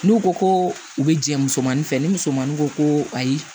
N'u ko ko u bɛ jɛ musomanin fɛ ni musomanin ko ko ayi